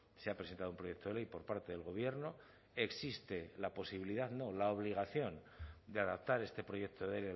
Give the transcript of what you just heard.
se ha presentado un proyecto de ley por parte del gobierno existe la posibilidad no la obligación de adaptar este proyecto de